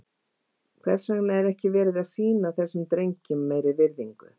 Hvers vegna er ekki verið að sýna þessum drengjum meiri virðingu?